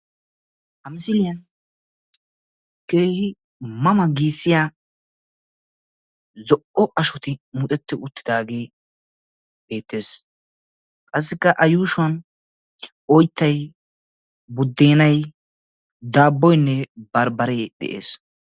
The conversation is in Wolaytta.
Issi ma ma giya zo'o ashoy beetes. Qassikka a miyiyan oyttay, unccay, bambbarenne dabboy beetees.